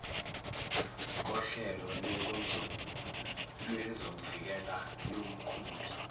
kohlelo lwezokuvikela lomkhumbi